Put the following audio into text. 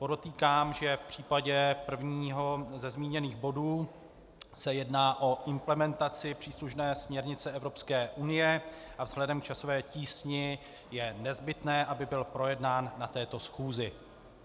Podotýkám, že v případě prvního ze zmíněných bodů se jedná o implementaci příslušné směrnice Evropské unie a vzhledem k časové tísni je nezbytné, aby byl projednán na této schůzi.